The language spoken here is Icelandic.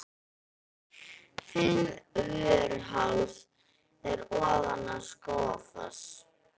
Fimmvörðuháls er ofan við Skógafoss.